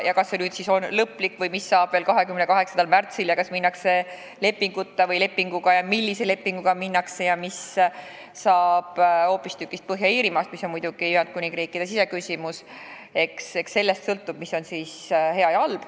Kas see on lõplik või mis saab 28. märtsil, kas minnakse lepinguta või lepinguga ja millise lepinguga minnakse ning mis saab Põhja-Iirimaast – see on muidugi Ühendkuningriigi siseküsimus –, eks sellest sõltub, mis on hea ja mis halb.